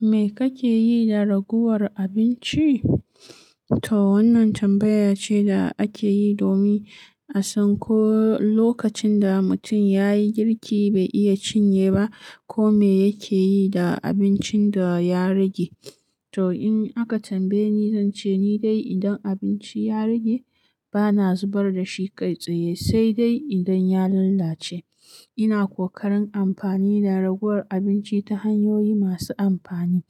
Me kake yi da ragowar abinci? To wannan tambaya ce da ake yi domin a san ko lokacin da mutum ya yi girki bai iya cinye ba, ko me yake yi da abincin da ya rage. To in aka tambaye ni zance ni dai idan abinci ya rage bana zubar dashi kai tsaye saide idan ya lallace ina kokarin amfani da ragowar abinci ta hanyoyi masu amfani.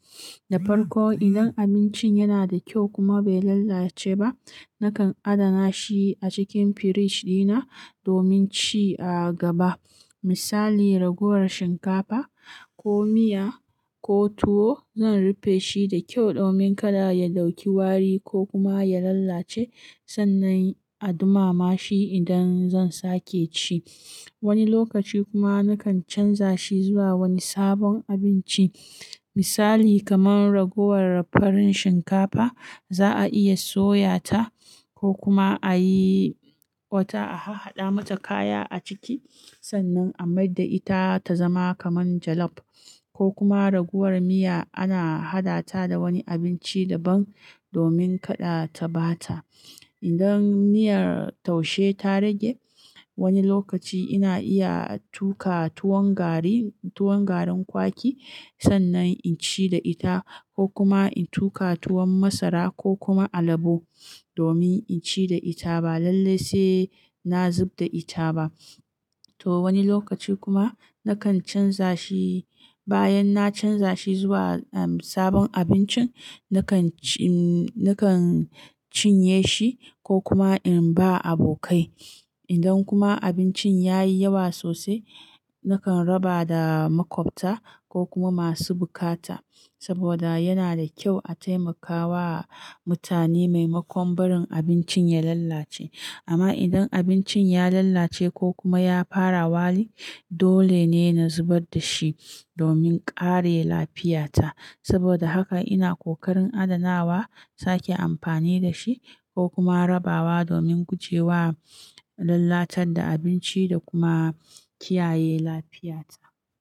Da farko, idan abincin yana da kyau kuma bai lalace ba, nakan adana shi a cikin firij dina domin ci a gaba. Misali ragowar shinkafa ko miya ko tuwo, zan rufe shi da kyau domin kada ya ɗauki wari ko kuma ya lalace sannan a dumama shi idan zan sake ci. Wani lokaci kuma nakan canza shi zuwa wani sabon abinci. Misali kamar ragowar farin shinkafa za'a iya soya ta ko kuma a yi wata a hahaɗa mata kaya a ciki sannan a maida ita ta zama kamar jollof. Ko kuma ragowar miya ana haɗa ta da wani abinci daban domin kada ta ɓata. Idan miyar taushe ta rage, wani lokaci ina iya tuƙa tuwon garin kwaki sannan in ci da ita ko kuma in tuƙa tuwon masara ko kuma alabo domin inci da ita ba lallai na zubda ita ba to wani lokaci kuma nakan canza shi bayan na canza shi zuwa sabon abincin nakan cinye shi ko kuma in ba abokai. Idan kuma abincin ya yi yawa sosai, nakan raba da makwabta ko kuma masu bukata saboda yana da kyau a taimakawa mutane maimakon barin abincin ya lalace. Amma idan abincin ya lallace ko kuma ya fara wari, dole ne na zubar da shi domin kare lafiyata. Saboda haka ina kokarin adanawa sake amfani da shi ko kuma rabawa domin gujewa lalatar da abinci da kuma kiyaye lafiyata.